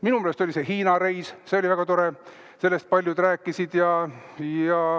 Minu meelest oli teil Hiina reis, see oli väga tore, sellest paljud rääkisid.